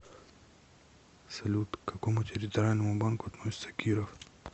салют к какому территориальному банку относится киров